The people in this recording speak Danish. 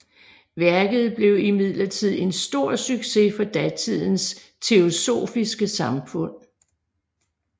Værket blev i midlertid en stor succes for datidens Teosofiske Samfund